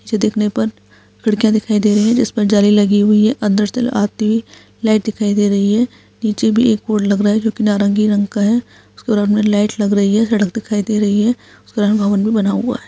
जो दिखने पर खिड़कियां दिखाई दे रही है जिस पर जाली लगी हुई है अंदर से आती लाइट दिखाई दे रही है नीचे भी एक बोर्ड लग रहा है जो कि नारंगी रंग का है उसके बगल में लाइट लग रही है सड़क दिखाई दे रही है उसके भवन भी बना हुआ है।